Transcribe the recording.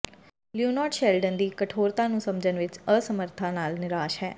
Leonard Sheldon ਦੀ ਕਠੋਰਤਾ ਨੂੰ ਸਮਝਣ ਵਿੱਚ ਅਸਮਰਥਤਾ ਨਾਲ ਨਿਰਾਸ਼ ਹੈ